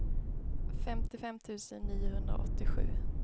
femtiofem tusen niohundraåttiosju